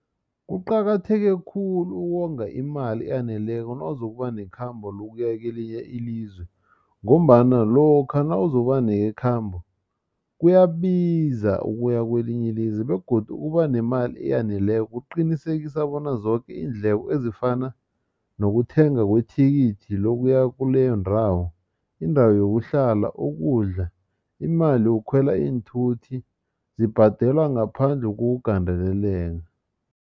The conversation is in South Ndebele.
Kuqakatheke khulu ukonga imali eyaneleko nawuzokuba nekhambo lokuya kelinye ilizwe ngombana lokha nawuzokuba nekhambo kuyabiza ukuya kwelinye ilizwe begodu ukuba nemali eyaneleko kuqinisekisa bona zoke iindleko ezifana nokuthenga kwethikithi lokuya kuleyo ndawo indawo yokuhlala ukudla imali yokukhwela iinthuthi zibhadelwa ngaphandle kokugandeleleka.